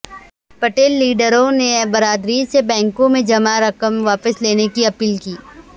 پٹیل لیڈروں نے برادری سے بینکوں میں جمع رقم واپس لینے کی اپیل کی